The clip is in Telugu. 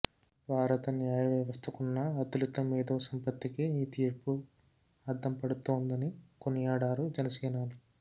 భారత న్యాయవ్యవస్థకున్న అతులిత మేథోసంపత్తికి ఈ తీర్పు అద్దం పడుతోందని కొనియాడారు జనసేనాని